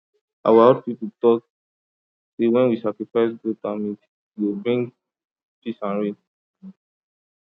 our old people talk say when we sacrifice cow and goat e go bring peace and rain